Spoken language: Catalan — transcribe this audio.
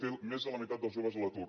té més de la meitat dels joves a l’atur